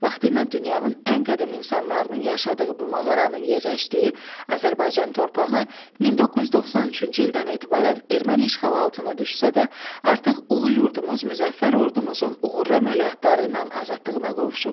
Vaxtıilə dünyanın ən qədim insanlarının yaşadığı bu mağaranın yerləşdiyi Azərbaycan torpağı 1993-cü ildən etibarən erməni işğalı altına düşsə də, artıq ulu yurdumuz müzəffər ordumuzun uğurlu əməliyyatları ilə azadlığına qovuşub.